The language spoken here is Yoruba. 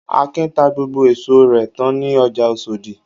Akin ta gbogbo èso rẹ̀ tán ní ọjà Oṣòdì.